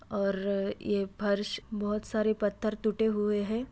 और ये फर्श बहुत सारे पत्थर टूटे हुए हैं।